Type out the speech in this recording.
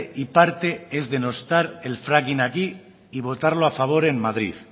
y parte es denostar el fracking aquí y votarlo a favor en madrid